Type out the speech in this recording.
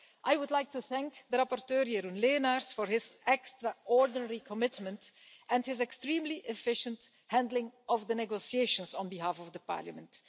I would like to thank the rapporteur, Jeroen Lenaers, for his extraordinary commitment and his extremely efficient handling of the negotiations on behalf of the Parliament.